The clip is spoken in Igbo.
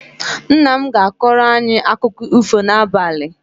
Nna m ga-akọrọ anyị akụkọ ifo n'abalị